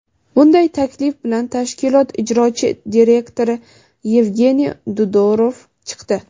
Bunday taklif bilan tashkilot ijrochi direktori Evgeniy Dudorov chiqdi.